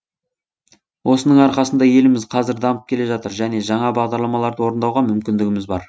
осының арқасында еліміз қазір дамып келе жатыр және жаңа бағдарламаларды орындауға мүмкіндігіміз бар